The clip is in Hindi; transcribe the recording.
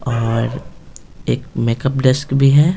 और एक मेकअप डेस्क भी है।